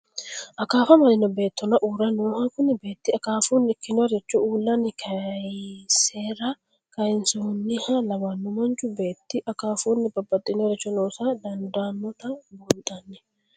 Akaafa amadino beetonna uure nooha, kuni beeti akafunni ikkinoricho uulanni kayisara kayisinoha lawanno, manchu beeti akafunni babaxinoricho loosa dandanota buunxanni